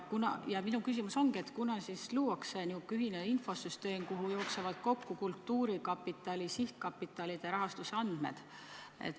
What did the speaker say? Minu küsimus ongi, kunas siis luuakse ühtne infosüsteem, kuhu jooksevad kokku kultuurkapitali sihtkapitalide rahastusandmed.